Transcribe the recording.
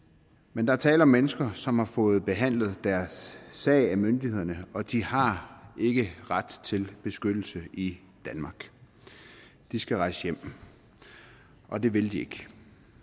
men der er tale om mennesker som har fået behandlet deres sag af myndighederne og de har ikke ret til beskyttelse i danmark de skal rejse hjem og det vil de ikke